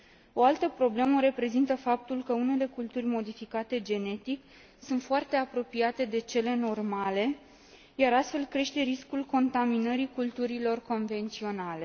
O altă problemă o reprezintă faptul că unele culturi modificate genetic sunt foarte apropiate de cele normale, iar astfel crește riscul contaminării culturilor convenționale.